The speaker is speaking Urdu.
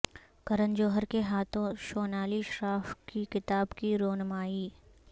کرن جوہر کے ہاتھوں شونالی شراف کی کتاب کی رونمائی